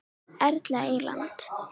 Erla Eyland.